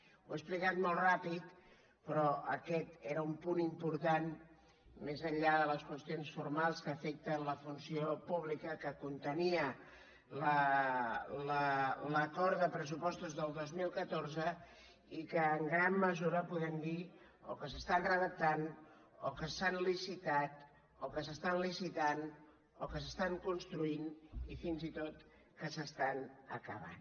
ho he explicat molt ràpid però aquest era un punt important més enllà de les qüestions formals que afecten la funció pública que contenia l’acord de pressupostos del dos mil catorze i que en gran mesura podem dir o que s’estan redactant o que s’han licitat o que s’estan licitant o que s’estan construint i fins i tot que s’estan acabant